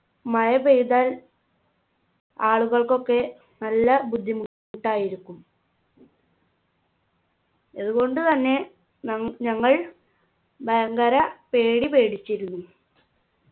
മഴ പെയ്താൽ ആളുകൾക്കൊക്കെ നല്ല ബുദ്ധിമുട്ടായിരിക്കും ഇതുകൊണ്ടു തന്നെ നം ഞങ്ങൾ ഭയങ്കര പേടി പേടിച്ചിരുന്നു